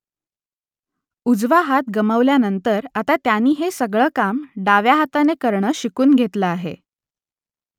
उजवा हात गमावल्यानंतर आता त्याने हे सगळं काम डाव्या हाताने करणं शिकून घेतलं आहे